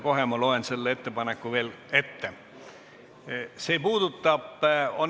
Kohe ma loen selle ettepaneku uuesti ette.